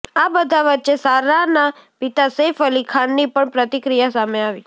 આ બધા વચ્ચે સારાના પિતા સૈફ અલી ખાનની પણ પ્રતિક્રિયા સામે આવી